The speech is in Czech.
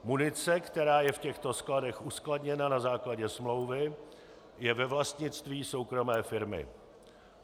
Munice, která je v těchto skladech uskladněna na základě smlouvy, je ve vlastnictví soukromé firmy.